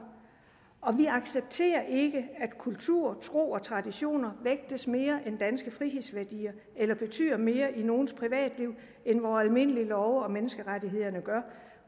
og vi accepterer ikke at kultur tro og traditioner vægtes mere end danske frihedsværdier eller betyder mere i nogles privatliv end vore almindelige love og menneskerettighederne gør